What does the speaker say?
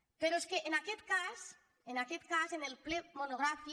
però és que en aquest cas en aquest cas en el ple monogràfic